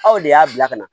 Aw de y'a bila ka na